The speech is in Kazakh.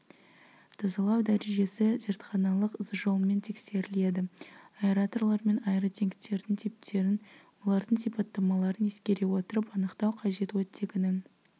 тазалау дәрежесі зертханалық жолмен тексеріледі аэраторлар мен аэротенктердің типтерін олардың сипаттамаларын ескере отырып анықтау қажет оттегінің